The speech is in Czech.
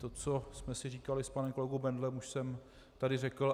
To, co jsme si říkali s panem kolegou Bendlem, už jsem tady řekl.